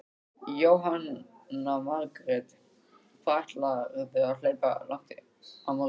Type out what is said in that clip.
Jóhanna Margrét: Hvað ætlarðu að hlaupa langt á morgun?